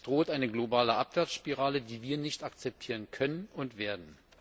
Es droht eine globale Abwärtsspirale, die wir nicht akzeptieren können und werden.